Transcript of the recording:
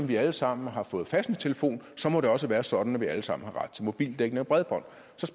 vi alle sammen har fået fastnettelefon så må det også være sådan at vi alle sammen har ret til mobildækning og bredbånd